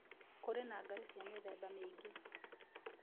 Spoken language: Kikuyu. Kũrĩ na ngarĩ cĩa mĩtheba mĩĩngĩ.